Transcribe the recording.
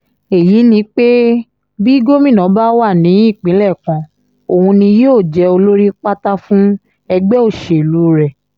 èyí ni pé bí gómìnà bá wà ní ìpínlẹ̀ kan òun ni yóò jẹ́ olórí pátá fún ẹgbẹ́ òṣèlú rẹ̀